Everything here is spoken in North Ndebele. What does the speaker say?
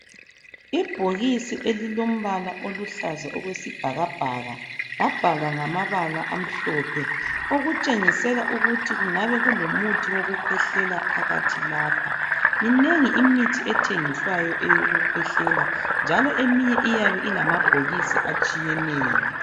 Ibhokisi elilombala oluhlaza okwesibhakabhaka labhalwa ngamabala amhlophe, okutshengisela ukuthi kungabe kulomuthi wokukhwehlela phakathi lapha. Minengi imithi ethengiswayo eyokukhwehlela, njalo eminye iyabe ilamabhokisi atshiyeneyo.